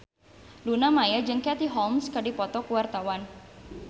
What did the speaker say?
Luna Maya jeung Katie Holmes keur dipoto ku wartawan